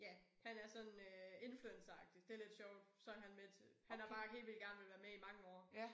Ja han er er sådan øh influenceragtig det lidt sjovt så han med til. Han har bare helt vildt gerne villet være med i mange år